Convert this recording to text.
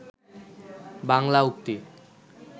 বাংলা উক্তি